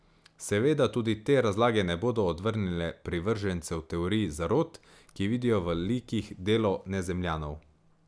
Seveda tudi te razlage ne bodo odvrnile privržencev teorij zarot, ki vidijo v likih delo nezemljanov.